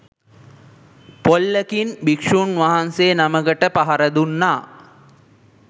පොල්ලකින් භික්ෂූන් වහන්සේ නමකට පහර දුන්නා.